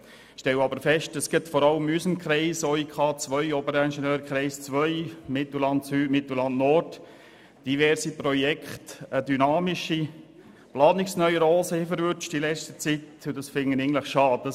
Ich stelle aber fest, dass vor allem in meinem Kreis, dem Oberingenieurkreis II Bern Mittelland, diverse Projekte in letzter Zeit eine dynamische Planungsneurose erwischt haben, was ich schade finde.